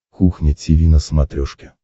кухня тиви на смотрешке